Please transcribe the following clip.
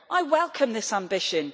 I welcome this ambition.